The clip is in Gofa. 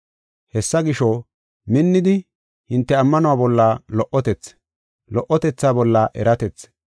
Hessa gisho, minnidi, hinte ammanuwa bolla lo77otethi, lo77otetha bolla eratethi,